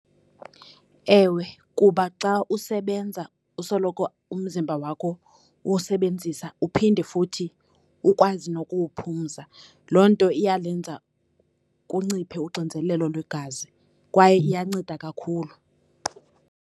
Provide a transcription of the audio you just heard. Ewe, kuba xa usebenza usoloko umzimba wakho uwusebenzisa uphinde futhi ukwazi nokuwuphumza. Loo nto iyalenza kunciphe uxinzelelo lwegazi, kwaye iyanceda kakhulu.